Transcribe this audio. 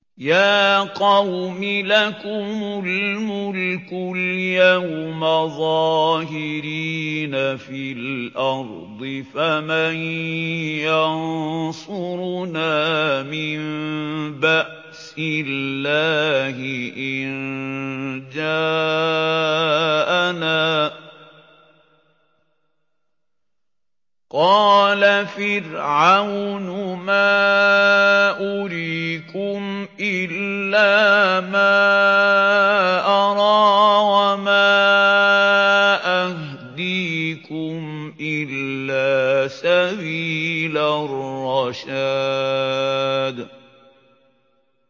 يَا قَوْمِ لَكُمُ الْمُلْكُ الْيَوْمَ ظَاهِرِينَ فِي الْأَرْضِ فَمَن يَنصُرُنَا مِن بَأْسِ اللَّهِ إِن جَاءَنَا ۚ قَالَ فِرْعَوْنُ مَا أُرِيكُمْ إِلَّا مَا أَرَىٰ وَمَا أَهْدِيكُمْ إِلَّا سَبِيلَ الرَّشَادِ